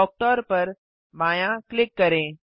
कुक्टर पर बायाँ क्लिक करें